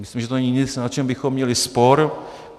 Myslím, že to není nic, na čem bychom měli spor.